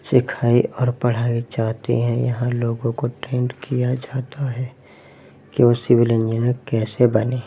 लिखाई और पढ़ाई चाहते हैं। यहाँ लोगों को ट्रेंड किया जाता है क्यू सिवल इंजीनियर कैसे बनें --